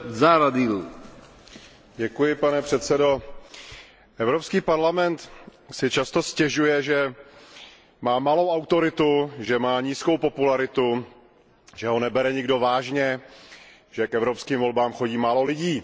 Vážený pane předsedající, Evropský parlament si často stěžuje, že má malou autoritu, že má nízkou popularitu, že ho nebere nikdo vážně, že k evropským volbám chodí málo lidí.